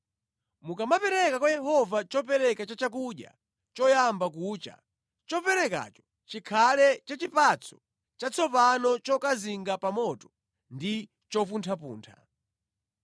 “ ‘Mukamapereka kwa Yehova chopereka cha chakudya choyamba kucha, choperekacho chikhale cha chipatso chatsopano chokazinga pa moto ndi chopunthapuntha.